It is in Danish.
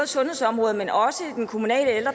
sundhedsområdet men også i den kommunale